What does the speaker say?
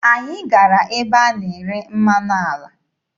Anyị gara ebe a na-ere mmanụ ala.